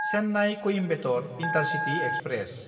चेन्नाय–कॊइम्बेटर intercity express